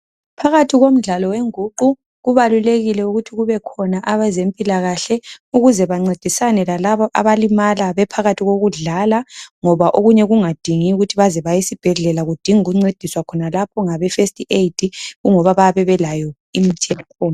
Phakathi kwemdlalo wengququ kubalulekile ukuthi kube khona abezempilakahle ukuze bancedisane lalaba abalimala bephakathi kokudlala ngoba okunye kungadingi isibhedlela kudinga ukuncedisa khonapha ngabe first aid ingoba bayabe belayo imithi yakhona.